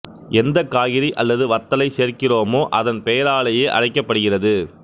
எந்த காய்கறி அல்லது வத்தலை சேர்க்கிறோமோ அதன் பெயராலேயே அழைக்கப்படுகிறது